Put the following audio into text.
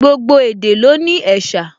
Gbogbo èdè ló ní ẹ̀sà